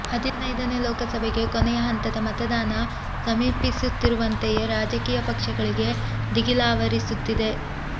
ಹದಿನೈದನೇ ಲೋಕಸಭೆಗೆ ಕೊನೆಯ ಹಂತದ ಮತದಾನ ಸಮೀಪಿಸುತ್ತಿರುವಂತೆಯೇ ರಾಜಕೀಯ ಪಕ್ಷಗಳಿಗೆ ದಿಗಿಲಾವರಿಸುತ್ತಿದೆ